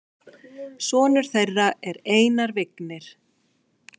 Sonur þeirra er Einar Vignir.